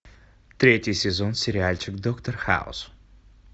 третий сезон сериальчик доктор хаус